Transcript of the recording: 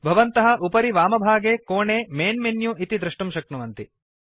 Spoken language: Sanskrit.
भवन्तः उपरि वामभागे कोणे मैन् मेनु इति द्रष्टुं शक्नुवन्ति